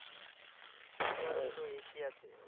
Saudi Arab তো এশিয়াতে